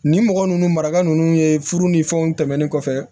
Nin mɔgɔ ninnu maraka ninnu ye furu ni fɛnw tɛmɛnen kɔfɛ